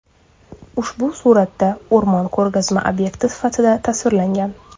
Ushbu suratda o‘rmon ko‘rgazma obyekti sifatida tasvirlangan.